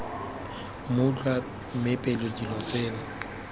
mmutlwa mme pele dilo tseno